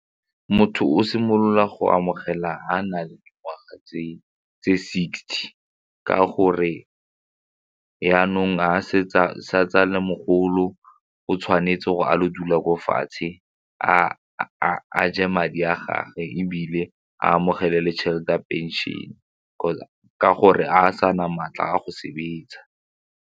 Motho o simolola go amogela ga a na le dingwaga tse sixty ka gore jaanong ga se a le mogolo o tshwanetse gore a lo dula ko fatshe a je madi a gage ebile a amogele le tšhelete a pension kgotsa ka gore a a sa na maatla a go sebetsa.